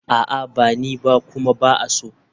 A'a ba ni ba kuma ba a so.